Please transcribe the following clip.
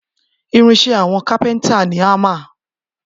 Irin iṣẹ́ àwọn cápéntà ni hámà